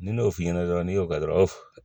Ni ne y'o f'i ɲɛna dɔrɔn n'i y'o kɛ dɔrɔn